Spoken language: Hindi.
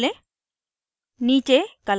popअप menu खोलें